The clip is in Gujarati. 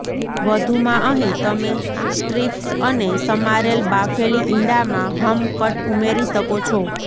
વધુમાં અહીં તમે સ્ટ્રિપ્સ અને સમારેલ બાફેલી ઇંડા માં હમ્ કટ ઉમેરી શકો છો